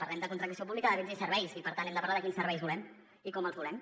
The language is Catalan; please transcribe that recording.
parlem de contractació pública de béns i serveis i per tant hem de parlar de quins serveis volem i com els volem